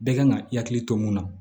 Bɛɛ kan ka i hakili to mun na